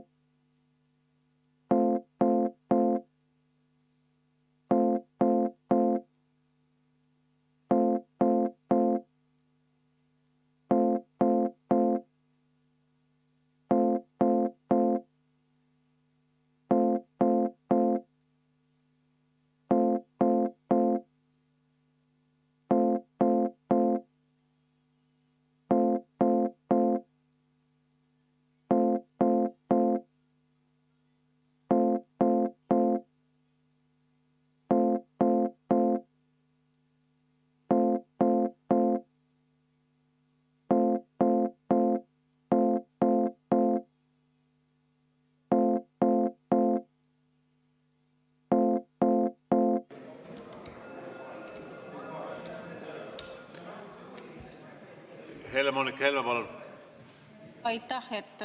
Aitäh!